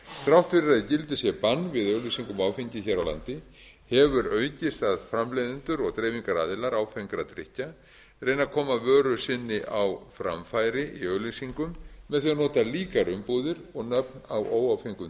þrátt fyrir að í gildi sé bann við auglýsingum á áfengi hér á landi hefur aukist að framleiðendur og dreifingaraðilar áfengra drykkja reyni að koma vöru sinni á framfæri í auglýsingum með því að nota líkar umbúðir og nöfn á óáfengum